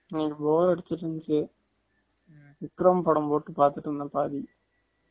இன்னிக்கு bore அடுச்சுருந்துச்சு விக்ரம் படம் போட்டு பாத்துட்டு இருந்தேன் பாரு